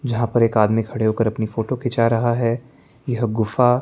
जहा पर एक आदमी खड़े होकर अपनी फोटो खींचा रहा है यह गुफा--